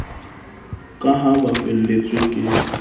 ka ha ba felletswe ke